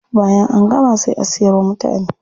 Bayan an buga sai a siyar wa mutane.